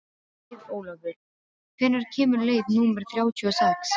Auðólfur, hvenær kemur leið númer þrjátíu og sex?